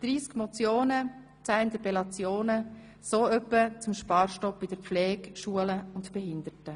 30 Motionen, 10 Interpellationen – so etwa zum Sparstopp in der Pflege, bei den Schulen und Behinderten.